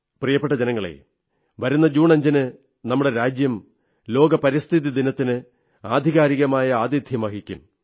പ്രിയപ്പെട്ട ജനങ്ങളേ വരുന്ന ജൂൺ 5ന് നമ്മുടെ രാജ്യം രീതിയിൽ ലോക പരിസ്ഥിതി ദിനത്തിന് ആധികാരികമായ ആതിഥ്യം വഹിക്കും